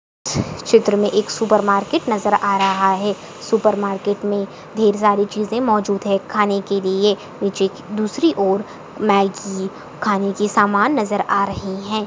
चित्र में एक सुपर मार्केट नज़र आ रहा है। सुपर मार्केट मे ढेर सारी चीज़े मौजूद है खाने के लिए नीचे दूसरी और मैगी खाने की सामान नज़र आ रही है।